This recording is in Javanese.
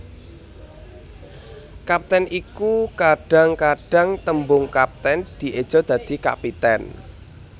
Kapten iku Kadhang kadhang tembung kaptèn dieja dadi kapitèn